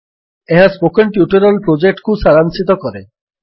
ଏହା spoken tutorial ପ୍ରୋଜେକ୍ଟକୁ ସାରାଂଶିତ କରେ